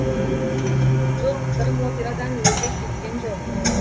жоқ сырым операдан өзі кеткен жоқ